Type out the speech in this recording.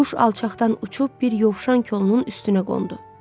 Quş alçaqdan uçub bir yovşan kolunun üstünə qondu.